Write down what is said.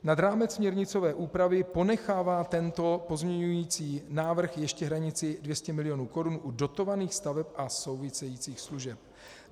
Nad rámec směrnicové úpravy ponechává tento pozměňující návrh ještě hranici 200 milionů korun u dotovaných staveb a souvisejících služeb.